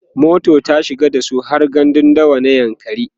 mota ta shiga dasu har gandun dawa na yankari